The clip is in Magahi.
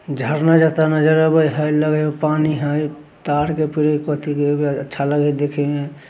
झरना जाता नज़र आबे हैं लगे है पानी है। तार के अच्छा लगे है दिखे में।